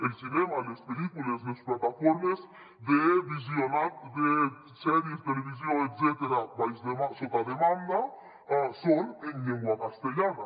el cinema les pel·lícules les plataformes de visionat de sèries televisió etcètera sota demanda són en llengua castellana